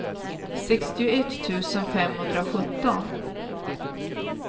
sextioett tusen femhundrasjutton